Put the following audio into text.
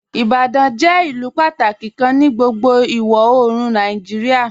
"Ibadan jẹ ilù pátàkí kàn ní gbogbo iwọ-oorùn Nàìjíríà.